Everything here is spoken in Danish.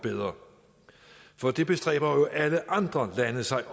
bedre for det bestræber alle andre lande sig